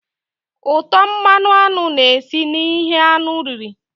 Útọ̀ mmanụ aṅụ na-esi na ihe anụ riri